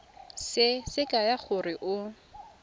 se se kaya gore o